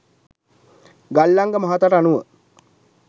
ගල්අංග මහතාට අනුව